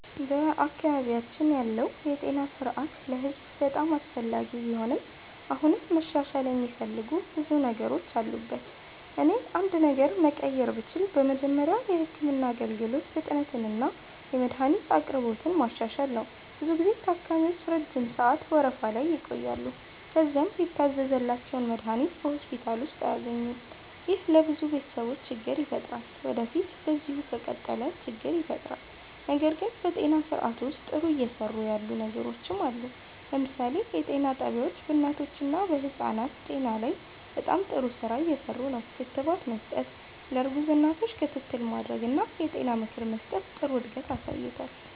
በአካባቢያችን ያለው የጤና ስርዓት ለህዝብ በጣም አስፈላጊ ቢሆንም አሁንም መሻሻል የሚፈልጉ ብዙ ነገሮች አሉበት። እኔ አንድ ነገር መቀየር ብችል በመጀመሪያ የህክምና አገልግሎት ፍጥነትንና የመድሀኒት አቅርቦትን ማሻሻል ነው። ብዙ ጊዜ ታካሚዎች ረጅም ሰዓት ወረፋ ላይ ይቆያሉ፣ ከዚያም የታዘዘላቸውን መድሀኒት በሆስፒታል ውስጥ አያገኙም። ይህ ለብዙ ቤተሰቦች ችግር ይፈጥራል ወዴፊት በዚሁ ከቀጠለ ችግር ይፈጥራል። ነገር ግን በጤና ስርዓቱ ውስጥ ጥሩ እየሰሩ ያሉ ነገሮችም አሉ። ለምሳሌ የጤና ጣቢያዎች በእናቶችና በህፃናት ጤና ላይ በጣም ጥሩ ስራ እየሰሩ ነው። ክትባት መስጠት፣ ለእርጉዝ እናቶች ክትትል ማድረግ እና የጤና ምክር መስጠት ጥሩ እድገት አሳይቷል።